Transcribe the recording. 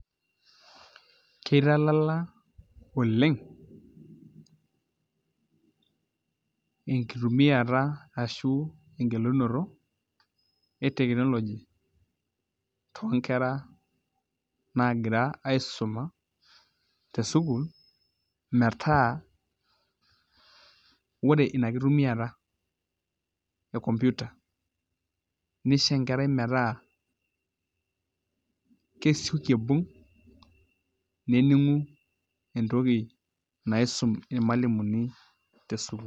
Kitalala oleng enkitumiata ashu engelunoto e technology toonkera nagira aisuma tesukuul metaa Ore ina kitumiata e computer nisho enkerai metaa kesioki aibung' nening'u entoki naisum irmalimuni tesukuul.